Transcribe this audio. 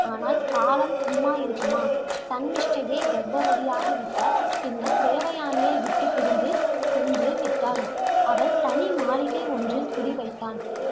ஆனால், காலம் சும்மா இருக்குமா சன்மிஷ்டையை கர்ப்பவதியாகி விட்டாள். பின்னர் தேவயானையை விட்டு பிரிந்து சென்று விட்டாள். அவள் தனி மாளிகை ஒன்றில் குடி வைத்தான்